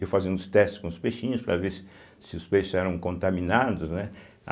Eu fazendo os testes com os peixinhos para ver se os peixes eram contaminados, né? a